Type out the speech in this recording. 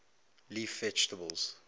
leaf vegetables